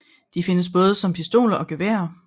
De findes både som pistoler og geværer